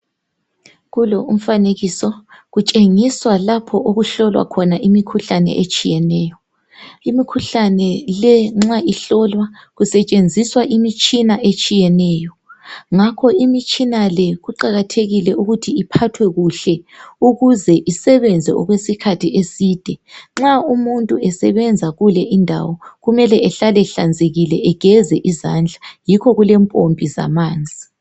Kulo umfanekiso kutshengisa lapho okuhlolwa khona imikhuhlane etshiyeneyo. Imikhuhlane le nxa ihlolwa kusetshenziswa imitshina etshiyeneyo ngakho imitshina le kuqakathekile ukuthi iphathwe kuhle ukuze usebenze okwesikhathi eside. Nxa umuntu esebenza kule indawo kumele ehlale ehlanzikile egeze izandla, yikho kulempompi zamanzi.